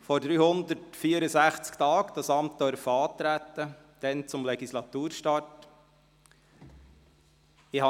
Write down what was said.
Vor 364 Tagen durfte ich dieses Amt bei Legislaturstart antreten.